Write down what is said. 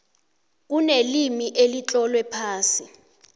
kunelimi elitlolwe phasi